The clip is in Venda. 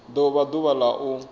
do vha ḓuvha la u